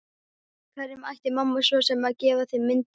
Hverjum ætti mamma svo sem að gefa mynd af þeim?